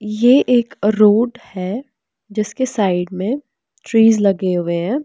ये एक रोड है जिसके साइड में ट्रीज लगे हुए हैं।